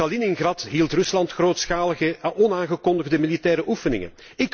En in Kaliningrad hield Rusland grootschalige onaangekondigde militaire oefeningen.